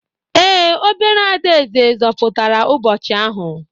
Ee, obere adaeze zọpụtara ụbọchị ahụ.